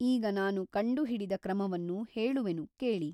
ಈಗ ನಾನು ಕಂಡುಹಿಡಿದ ಕ್ರಮವನ್ನು ಹೇಳುವೆನು ಕೇಳಿ.